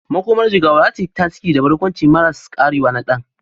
Makomar Jigawa za ta yi tasiri da barkwanci maras karewa na Dan.